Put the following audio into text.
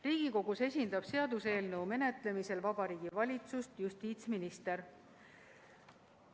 Riigikogus esindab seaduseelnõu menetlemisel Vabariigi Valitsust justiitsminister.